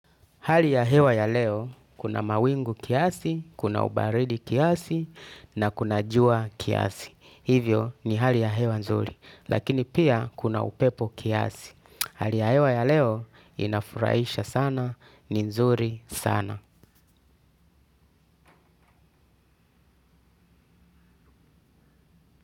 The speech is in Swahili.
Hali ya hewa ya leo, kuna mawingu kiasi, kuna ubaridi kiasi, na kuna jua kiasi. Hivyo ni hali ya hewa nzuri, lakini pia kuna upepo kiasi. Hali ya hewa ya leo, inafurahisha sana, ni nzuri sana.